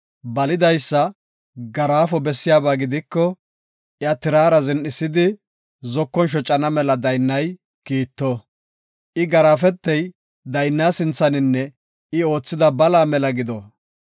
Balidaysa garaafo bessiyaba gidiko, iya tirara zin7isidi zokon shocana mela daynnay kiitto. I garaafetey daynna sinthaninne I oothida balaa mela gido.